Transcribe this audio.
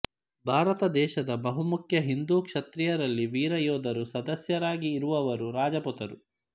ಭಾರತ ದೇಶದ ಬಹು ಮುಖ್ಯ ಹಿಂದೂ ಕ್ಷತ್ರಿಯ ರಲ್ಲಿ ವೀರ ಯೋಧರುಸದಸ್ಯರಾಗಿ ಇರುವವರು ರಜಪೂತರು